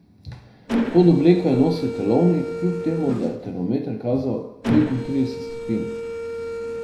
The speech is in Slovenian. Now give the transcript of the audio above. Pod obleko je nosil telovnik, kljub temu da je termometer kazal petintrideset stopinj.